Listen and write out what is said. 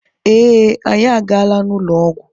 Ee, anyị agaala n'ụlọ ọgwụ.